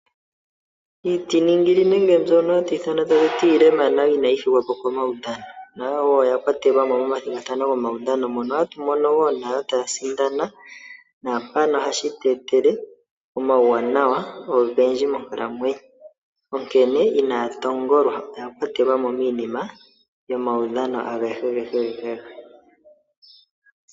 Iitiningili nenge mbono haya ithanwa iilema nayo inaya thigwapo komaudhano nayo wo oya kwatelwamo momathigathano gomaudhano mono hatu mono wo nayo taya sindana naampano ohashi tweetele omauwanawa ogendji monkalamwenyo. Onkene inaya tongolwa oya kwatelwamo miinima yomaudhano agehe gehe.